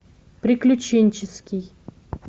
приключенческий